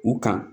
U kan